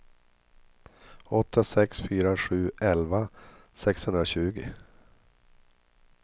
åtta sex fyra sju elva sexhundratjugo